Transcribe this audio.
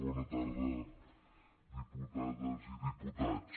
bona tarda diputades i diputats